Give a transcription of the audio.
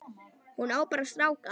Hún á bara stráka.